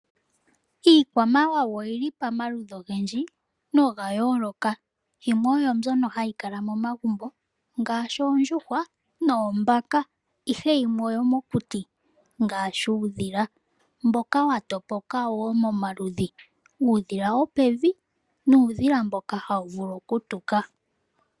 Iikwamawawa oyi li pomaludhi ogendji noga yooloka, yimwe oyo mbyoka hayi kala momagumbo ngaashi oondjuhwa noombaka. Yimwe ohayi kala mokuti ngaashi uudhila mboka wa topoka woo momaludhi. Uudhila wopevi naamboka hawu vulu okutuka.